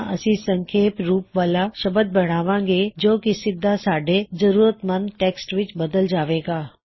ਤਾਂ ਅਸੀ ਇਕ ਸੰਖੇਪ ਰੂਪ ਵਾਲਾ ਸ਼ਬਦ ਬਣਾਵਾਂਗੇ ਜੋ ਕੀ ਸਿੱਧਾ ਸਾਡੇ ਲੋੜ ਮੰਦ ਟੈੱਕਸਟ ਵਿੱਚ ਬੱਦਲ ਜਾਵੇਗਾ